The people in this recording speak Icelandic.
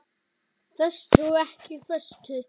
Föstu og ekki föstu.